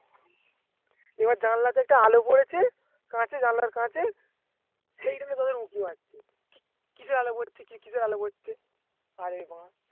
এবার জানালাতে একটা আলো পড়েছে কাচে জানলার কাচে কিসের এল পড়ছে কিসের এল পড়ছে